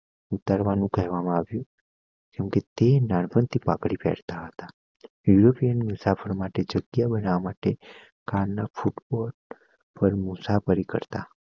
ઉતારવાનું કહેવામાં આવ્યું કેમકે તે નાં પણ થીપાંગડી પેહેર તા હતા યુરોપિયન મુસાફરો માટે જગ્યા બનવા માટે મુસાફરી કરતા